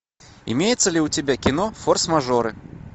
имеется ли у тебя кино форс мажоры